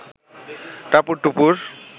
টাপুর টুপুর